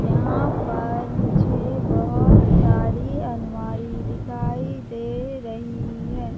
यहां पर मुझे बहुत सारी अलमारी दिखाई दे रही है।